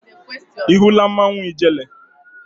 Ị hụla mmanwụ ijele?